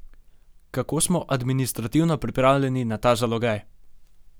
Kako smo administrativno pripravljeni na ta zalogaj?